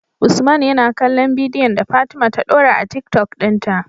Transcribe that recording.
usman yana kallon bidiyon da fatima ta dora a tiktok din ta